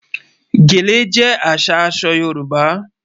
Gẹ̀lẹ̀ jẹ́ àṣà àṣọ Yorùbá